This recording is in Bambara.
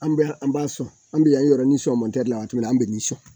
An b'a sɔn an bɛ o yɔrɔ ni sɔn la o tuma an bɛ nin sɔn